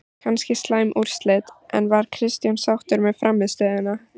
Kannski slæm úrslit, en var Kristján sáttur með frammistöðuna?